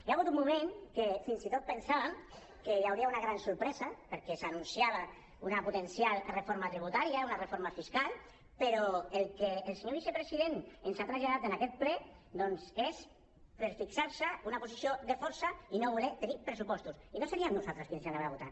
hi ha hagut un moment que fins i tot pensàvem que hi hauria una gran sorpresa perquè s’anunciava una potencial reforma tributària una reforma fiscal però el que el senyor vicepresident ens ha traslladat en aquest ple doncs és per fixar se una posició de força i no voler tenir pressupostos i no seríem nosaltres qui els hi anàvem a votar